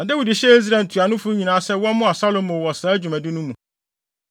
Na Dawid hyɛɛ Israel ntuanofo nyinaa sɛ wɔmmoa Salomo wɔ saa dwumadi no mu.